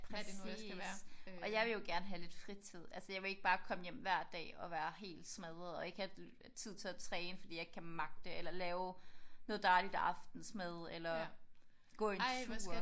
Præcis og jeg vil jo gerne have lidt fritid. Altså jeg vil ikke bare komme hjem hver dag og være helt smadret og ikke have tid til at træne fordi jeg ikke kan magte det eller lave noget dejligt aftensmad eller gå en tur